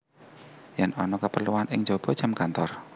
Yen ana keperluan ing jaba jam kantor